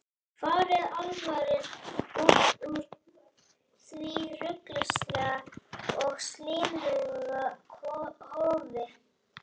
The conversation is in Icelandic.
Farið alfarinn út úr því ruglingslega og slímuga hofi.